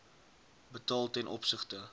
betaal ten opsigte